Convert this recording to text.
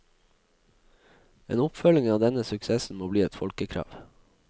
En oppfølging av denne suksessen må bli et folkekrav.